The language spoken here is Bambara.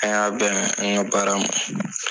An y'a bɛn an ŋa baara ma.